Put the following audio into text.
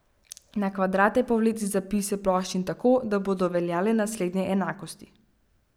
Na kvadrate povleci zapise ploščin tako, da bodo veljale naslednje enakosti.